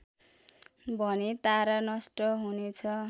भने तारा नष्ट हुनेछ